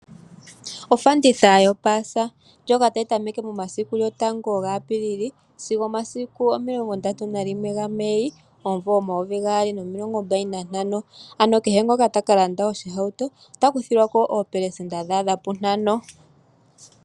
Ofanditha yo paasa ndjoka tayi tameke momasiku gotango ga Apiilili, sigo omasiku omilongo ndatu na limwe ga Mei omvula omayovi gaali nomilongo mbali na ntano. Ano kehe ngoka taka landa ohauto, ota kuthilwako oo pelesenta dha adha pu ntano.